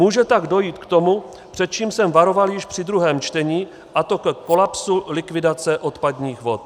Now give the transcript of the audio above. Může tak dojít k tomu, před čím jsem varoval již při druhém čtení, a to ke kolapsu likvidace odpadních vod.